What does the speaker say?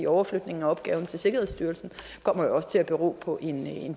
overflytningen af opgaven til sikkerhedsstyrelsen kommer jo også til at bero på en